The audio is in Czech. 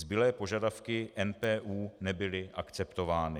Zbylé požadavky NPÚ nebyly akceptovány.